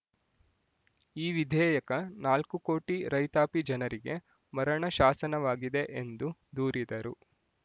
ಈ ವಿಧೇಯಕ ನಾಲ್ಕು ಕೋಟಿ ರೈತಾಪಿ ಜನರಿಗೆ ಮರಣ ಶಾಸನವಾಗಿದೆ ಎಂದು ದೂರಿದರು